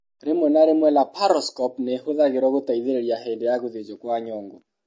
Rĩmwe na rĩmwe laparoscope nĩ ĩhũthagĩrũo gũteithĩrĩria hĩndĩ ya gũthĩnjwo kwa nyongo.